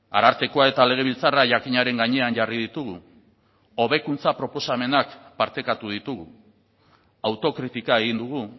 arartekoa eta legebiltzarra jakinaren gainean jarri ditugu hobekuntza proposamenak partekatu ditugu autokritika egin dugu